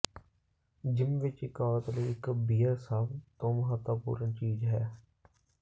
gym ਵਿਚ ਇਕ ਔਰਤ ਲਈ ਇਕ ਬੀਅਰ ਸਭ ਤੋਂ ਮਹੱਤਵਪੂਰਣ ਚੀਜ਼ ਹੈ